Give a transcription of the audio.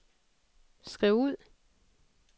skriv ud